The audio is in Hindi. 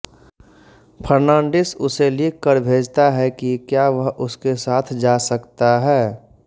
फर्नांडीस उसे लिखकर भेजता है की क्या वह भी उसके साथ जा सकता है